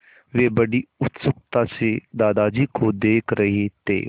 वे बड़ी उत्सुकता से दादाजी को देख रहे थे